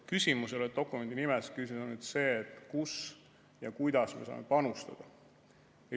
Küsimus ei ole dokumendi nimes, küsimus on see, kus ja kuidas me saame panustada.